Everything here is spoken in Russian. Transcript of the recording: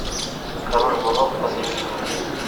король воров посоветуй мне